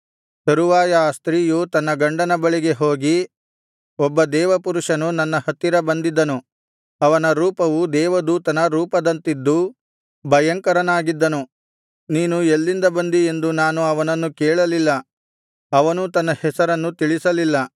ತರುವಾಯ ಆ ಸ್ತ್ರೀಯು ತನ್ನ ಗಂಡನ ಬಳಿಗೆ ಹೋಗಿ ಒಬ್ಬ ದೇವರಪುರುಷನು ನನ್ನ ಹತ್ತಿರ ಬಂದಿದ್ದನು ಅವನ ರೂಪವು ದೇವದೂತನ ರೂಪದಂತಿದ್ದು ಭಯಂಕರನಾಗಿದ್ದನು ನೀನು ಎಲ್ಲಿಂದ ಬಂದಿ ಎಂದು ನಾನು ಅವನನ್ನು ಕೇಳಲಿಲ್ಲ ಅವನೂ ತನ್ನ ಹೆಸರನ್ನು ತಿಳಿಸಲಿಲ್ಲ